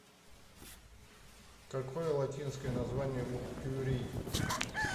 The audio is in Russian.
какой латинское название у кюрий